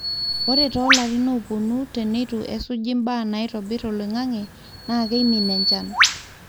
ore too larin oopuonu teneitu esuji mbaa naitobir oloingange naa keimin enchan